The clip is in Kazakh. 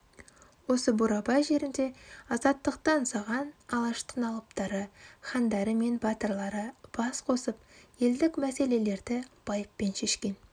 осы бурабай жерінде азаттықты аңсаған алаштың алыптары хандары мен батырлары бас қосып елдік мәселелерді байыппен шешкен